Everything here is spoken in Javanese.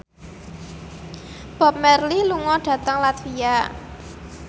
Bob Marley lunga dhateng latvia